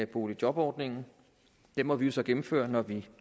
boligjobordningen den må vi jo så gennemføre når vi